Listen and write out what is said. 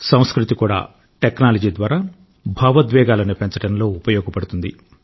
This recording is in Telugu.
సంస్కృతి కూడా టెక్నాలజీ ద్వారా భావోద్వేగాలను పెంచడంలో ఉపయోగపడుతుంది